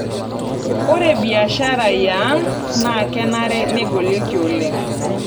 Ore mbiashari yaang' na kenare negolieki oleng'.